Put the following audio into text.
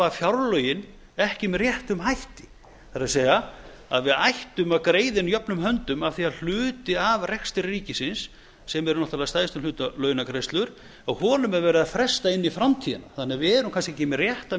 fjárlögin ekki með réttum hætti það er að við ættum að greiða inn jöfnum höndum af því að hluti af rekstri ríkisins sem er náttúrlega að stærstum hluta launagreiðslur að honum er verið að fresta inn í framtíðina við erum því kannski ekki með réttu